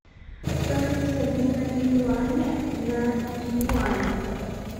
стоимость обмена юаня на юань